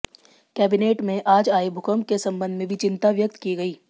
cabinet में आज आए भूकम्प के सम्बन्ध में भी चिंता व्यक्त की गई